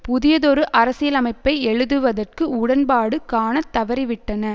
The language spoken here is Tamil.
புதியதொரு அரசியலமைப்பை எழுதுவதற்கு உடன்பாடு காணத்தவறிவிட்டன